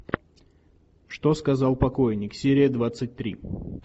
что сказал покойник серия двадцать три